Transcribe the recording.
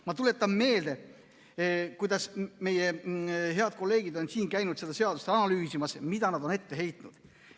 Ma tuletan meelde, kuidas meie head kolleegid on siin käinud seda seadust analüüsimas ja mida nad on ette heitnud.